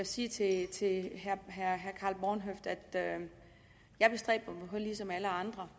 sige til til herre karl h bornhøft at jeg ligesom alle andre